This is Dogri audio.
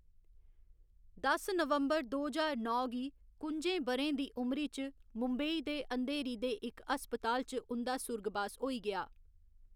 दस नवंबर दो ज्हार नौ गी कुं'जें ब'रें दी उमरी च मुंबेई दे अँधेरी दे इक हस्पताल च उं'दा सुर्गबास होई गेआ।